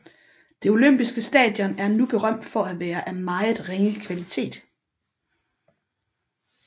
Det olympiske stadion er nu berømt for at være af meget ringe kvalitet